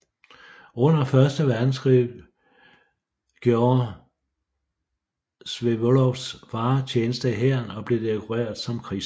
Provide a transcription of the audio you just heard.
Under Første Verdenskrig gjorde Vsevolods far tjeneste i hæren og blev dekoreret som krigshelt